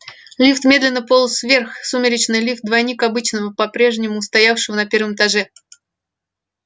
лифт медленно полз вверх сумеречный лифт двойник обычного попрежнему стоявшего на первом этаже